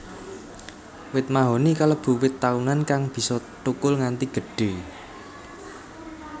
Wit mahoni kalebu wit taunan kang bisa thukul nganti gedhé